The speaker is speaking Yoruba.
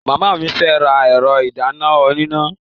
Ìyá mi fẹ́ ra ẹ̀rọ ìdáná oníná.